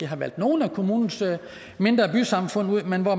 har valgt nogle af kommunens mindre bysamfund ud men hvor